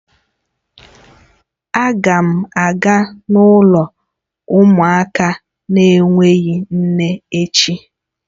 Aga m aga n'ụlọ umuaka n'enweghi nne echi